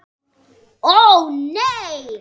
Ó nei!